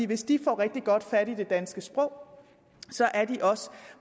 hvis de får rigtig godt fat i det danske sprog så er de også